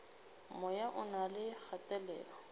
moya o na le kgatelelo